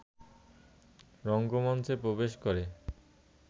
রঙ্গমঞ্চে প্রবেশ করে